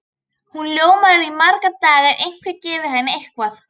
Hún ljómar í marga daga ef einhver gefur henni eitthvað.